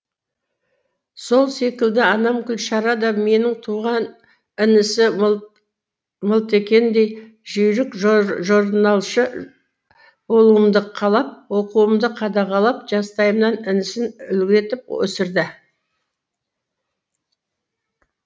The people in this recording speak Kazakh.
сол секілді анам гүлшара да менің туған інісі мылтекеңдей жүйрік жорналшы болуымды қалап оқуымды қадағалап жастайымнан інісін үлгі етіп өсірді